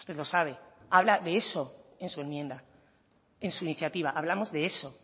lo sabe habla de eso en su enmienda en su iniciativa hablamos de eso